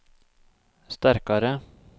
sterkare